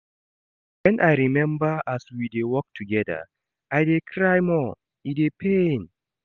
Wen I rememba as we dey work togeda, I dey cry more, e dey pain.